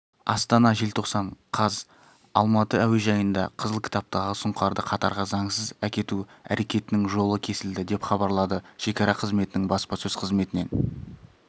астана желтоқсан қаз алматы әуежайында қызыл кітаптағы сұңқарды катарға заңсыз әкету әрекетінің жолы кесілді деп хабарлады шекара қызметінің баспасөз қызметінен